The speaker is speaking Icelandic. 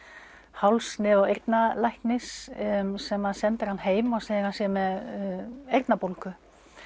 háls nef og eyrnalæknis sem sendir hann heim og segir að hann sé með eyrnabólgu